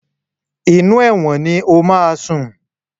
Inú ẹ̀wọ̀n ni o máa sùn.